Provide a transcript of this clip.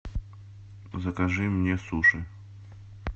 закажи мне суши